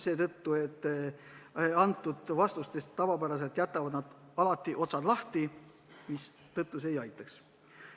Nad nimelt jätavad oma vastustes tavapäraselt alati otsad lahti, mistõttu see ei aitaks.